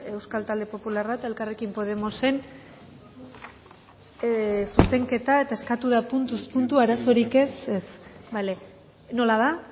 euskal talde popularra eta elkarrekin podemosen zuzenketa eta eskatu da puntuz puntu arazorik ez bale nola da